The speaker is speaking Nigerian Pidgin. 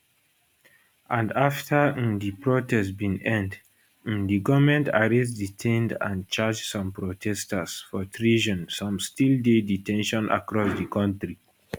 and afta um di protest bin end um di goment arrest detain and charge some protesters for treason some still dey de ten tion across di kontri